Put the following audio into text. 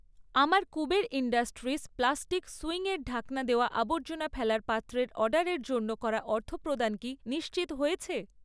আমার Kuber industries plastic সুইংয়ের ঢাকনা দেওয়া আবর্জনা ফেলার পাত্রের অর্ডারের জন্য করা অর্থপ্রদান কি নিশ্চিত হয়েছে?